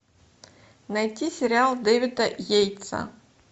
найти сериал дэвида йейтса